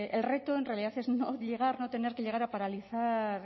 el reto en realidad es no tener que llegar a paralizar